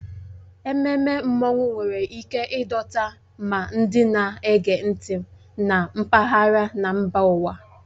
Ememme Mmanwụ nwere ike ịdọta ma ndị na-ege ntị na mpaghara na mba ụwa.